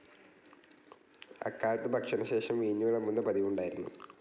അക്കാലത്ത് ഭക്ഷണശേഷം വീഞ്ഞ് വിളമ്പുന്ന പതിവുണ്ടായിരുന്നു.